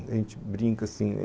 A gente brinca assim.